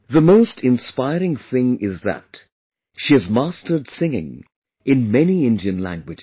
The most inspiring thing is that she has mastered singing in many Indian languages